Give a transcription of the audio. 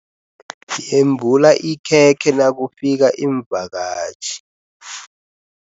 Yembula ikhekhe nakufika iimvakatjhi.